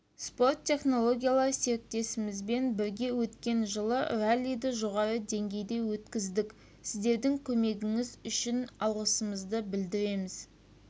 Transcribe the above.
спорт технологиялары серіктесімізбен бірге өткен жылы раллиді жоғары деңгейде өткіздік сіздердің көмегіңіз үшін алғысымызды білдіреміз